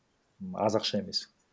аз ақша емес